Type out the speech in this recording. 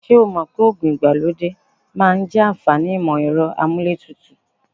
Ṣé o mọ̀ pé oògùn ìgbàlódé máa ń jẹ àǹfàní ìmọ-ẹ̀rọ amúlé tutù?